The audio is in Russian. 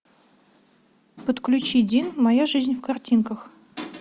подключи дин моя жизнь в картинках